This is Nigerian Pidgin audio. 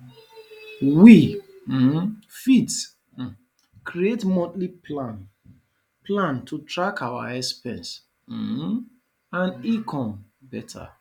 we um fit um create monthly plan plan to track our expenses um and income beta